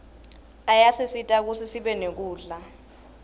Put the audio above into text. ayasisita kutsi sibe nekudla